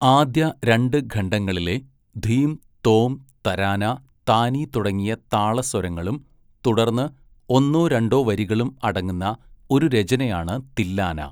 ആദ്യ രണ്ട് ഖണ്ഡങ്ങളിലെ ധീം, തോം, തരാന, താനി തുടങ്ങിയ താള സ്വരങ്ങളും തുടർന്ന് ഒന്നോ രണ്ടോ വരികളും അടങ്ങുന്ന ഒരു രചനയാണ് തില്ലാന.